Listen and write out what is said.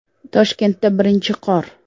Toshkentda birinchi qor .